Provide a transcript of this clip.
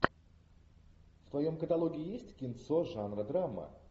в твоем каталоге есть кинцо жанра драма